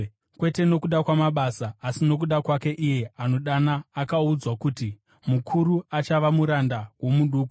kwete nokuda kwamabasa asi nokuda kwake iye anodana, akaudzwa kuti, “Mukuru achava muranda womuduku.”